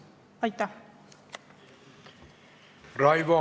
Aitäh!